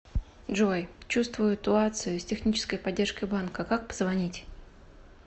джой чувствую туацию с технической поддержкой банка как позвонить